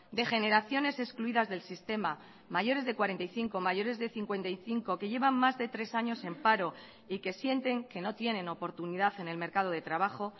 de generaciones excluidas del sistema mayores de cuarenta y cinco mayores de cincuenta y cinco que llevan más de tres años en paro y que sienten que no tienen oportunidad en el mercado de trabajo